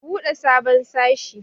Ku buɗe sabon sashe.